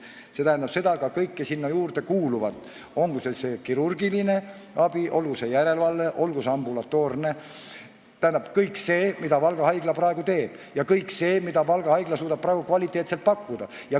See tähendab seda, et ka kõike sinna juurde kuuluvat, olgu see kirurgiline abi, olgu see järelevalve, olgu see ambulatoorne – kõik see, mida Valga Haigla praegu teeb, ja kõik see, mida Valga Haigla suudab praegu kvaliteetselt pakkuda.